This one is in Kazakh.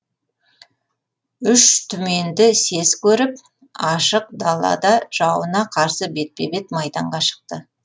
үш түменді сес көріп ашық далада жауына қарсы бетпе бет майданға шықты